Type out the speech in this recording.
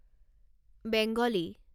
Bengali